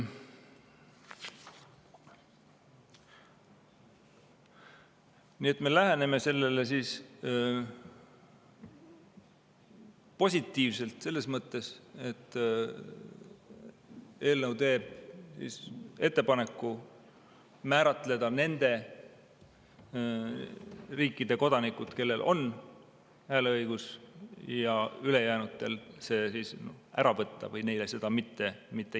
Nii et me läheneme sellele positiivselt – selles mõttes, et eelnõu teeb ettepaneku määratleda nende riikide kodanikud, kellel on hääleõigus, ja ülejäänutelt see ära võtta või neile seda mitte anda.